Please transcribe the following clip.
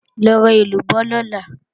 Lọ ra èlúbọ́ lọ̀la!